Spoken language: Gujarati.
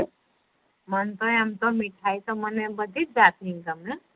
મનતો એમ તો મીઠાઈ તો બધી જાત ની ગમે